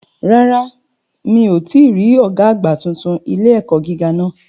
Rárá mi ò tíì rí Ọ̀gá àgbà titun ilé-ẹ̀kọ́ gíga náà